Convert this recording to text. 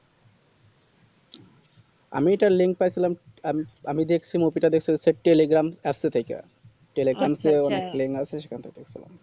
আমি ওটার link পাঠালাম আ আমি দেখছি movie টা দেখেছি telegram আস্তেছে ওইটা telegram তো শেষ খন টা দেখেছিলাম